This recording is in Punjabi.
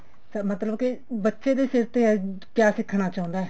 ਮਤਲਬ ਕੇ ਬੱਚੇ ਦੇ ਸਿਰ ਤੇ ਆ ਕਿਆ ਸਿੱਖਣਾ ਚਾਹੁੰਦਾ